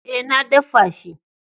Eh, na daffa shi.